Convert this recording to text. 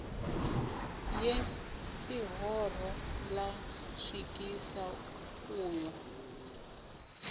ye ḽihoro lṅa swikisa uyo